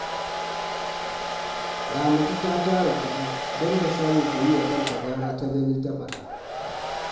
Ramatu ta tara kuɗi don ta samu ta yi wa kanta gara ta gani, ta faɗa